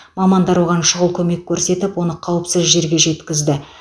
мамандар оған шұғыл көмек көрсетіп оны қауіпсіз жерге жеткізді